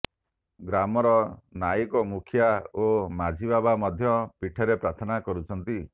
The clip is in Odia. ଗ୍ରାମର ନାଇକେ ମୁଖିୟା ଓ ମାଝିବାବା ମଧ୍ୟ ପୀଠରେ ପ୍ରାର୍ଥନା କରୁଛନ୍ତି